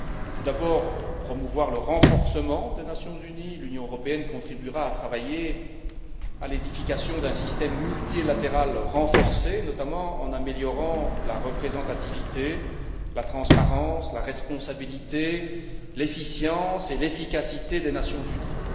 Tout d'abord, promouvoir le renforcement des Nations unies l'Union européenne contribuera à travailler à l'édification d'un système multilatéral renforcé, notamment en améliorant la représentativité, la transparence, la responsabilité, l'efficience et l'efficacité des Nations unies.